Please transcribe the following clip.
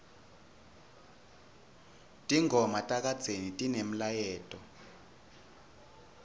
tingoma takadzeni tinemlayeto